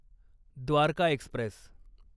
Dwarka Express